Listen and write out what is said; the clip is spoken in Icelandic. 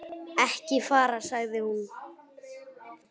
Ekki fara, sagði hún.